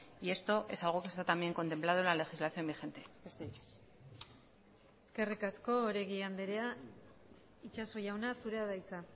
y esto es algo que está también contemplado por la legislación vigente besterik ez eskerrik asko oregi andrea itxaso jauna zurea da hitza